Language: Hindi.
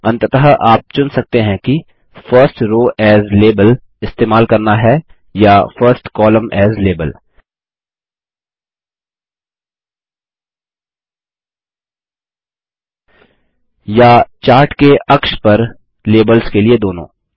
अंततः आप चुन सकते हैं कि फर्स्ट रोव एएस लाबेल इस्तेमाल करना है या फर्स्ट कोलम्न एएस लाबेल या चार्ट के अक्ष पर लेबल्स के लिए दोनों